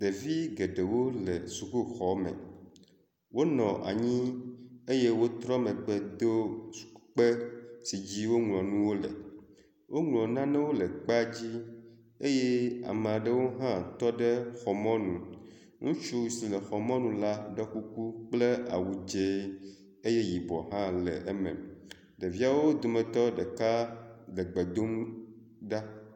Ɖevi geɖewo le sukuxɔme. Wonɔ anyi eye wotrɔ megbe do sukukpe si dzi woŋlɔ nuwo le. Woŋlɔ nanewo le kpea dzi eye ame aɖewo hã tɔ ɖe xɔ mɔnu. Ŋutsu si le xɔ mɔnu la do kuku kple awu dze eye yibɔ hã le eme. Ɖeviawo domtɔ ɖeka le gbe dom ɖa.